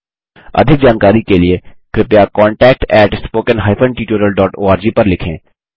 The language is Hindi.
अधिक जानकारी के लिए contactspoken tutorialorg पर लिखें